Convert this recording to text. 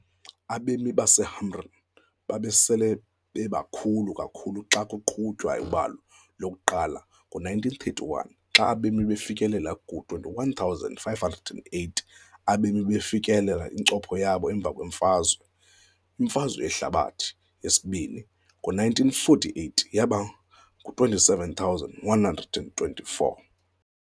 Abemi baseHamrun babesele bebakhulu kakhulu xa kwaqhutywa ubalo lokuqala ngowe-1931, xa abemi bafikelela kuma-21,580. Abemi bafikelela incopho yabo emva kwemfazwe, imfazwe yehlabathi yesibini, ngowe-1948, yaba ngama-27 124.